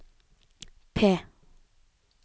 P